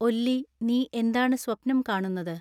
ഒല്ലി നീ എന്താണ് സ്വപ്നം കാണുന്നത്